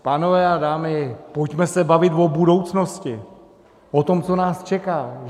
Pánové a dámy, pojďme se bavit o budoucnosti, o tom, co nás čeká.